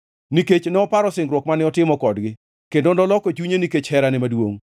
nikech noparo singruok mane otimo kodgi kendo noloko chunye nikech herane maduongʼ.